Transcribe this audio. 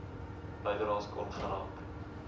bydraes kon geraak